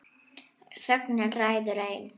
Þögnin ræður ein.